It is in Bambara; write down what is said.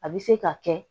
A bɛ se ka kɛ